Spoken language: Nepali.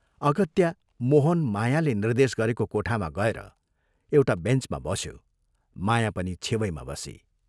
अगत्या मोहन मायाले निर्देश गरेको कोठामा गएर एउटा बेञ्चमा बस्यो माया पनि छेवैमा बसी।